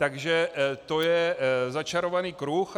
Takže to je začarovaný kruh.